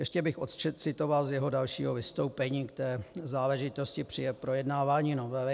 Ještě bych odcitoval z jeho dalšího vystoupení k té záležitosti při projednávání novely.